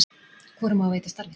Hvorum á að veita starfið?